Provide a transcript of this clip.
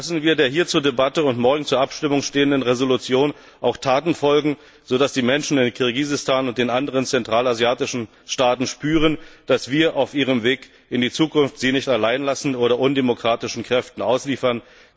Lassen wir der hier zur Debatte und morgen zur Abstimmung stehenden Entschließung auch Taten folgen, sodass die Menschen in Kirgisistan und den anderen zentralasiatischen Staaten spüren, dass wir sie auf ihrem Weg in die Zukunft nicht allein lassen oder undemokratischen Kräften ausliefern.